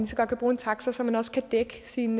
så godt kan bruge en taxa så man også kan dække sin